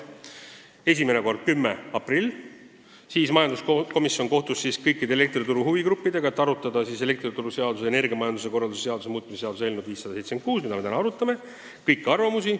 Esimene kord oli 10. aprillil, kui majanduskomisjon kohtus kõikide elektrituru huvigruppidega, et arutada elektrituruseaduse ja energiamajanduse korralduse seaduse muutmise seaduse eelnõu 576 ning kuulata kõiki arvamusi.